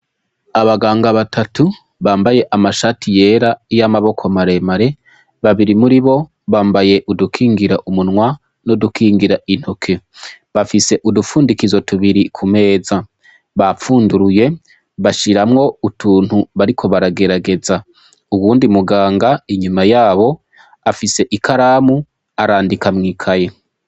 Abaganga batatu bambaye amashati yera y'amaboko maremare babiri muri bo bambaye udukingira umunwa no dukingira intoke bafise udupfundikizo tubiri ku meza bapfunduruye bashiramwo utuntu bariko baragerageza uwundi muganga inyumaya abo afise ikaramu arandika mwikaye.